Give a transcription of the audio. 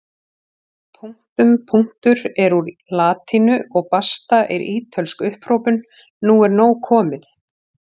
Punktum punktur er úr latínu og basta er ítölsk upphrópun nú er nóg komið!